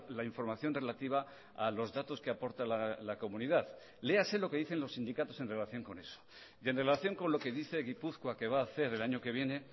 la información relativa a los datos que aporta la comunidad léase lo que dicen los sindicatos en relación con eso y en relación con lo que dice gipuzkoa que va a hacer el año que viene